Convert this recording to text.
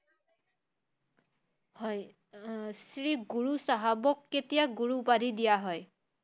হয়, আহ শ্ৰী গুৰু চাহাবক কেতিয়া গুৰু উপাধি দিয়া হয়?